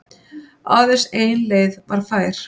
Aðeins ein leið væri fær.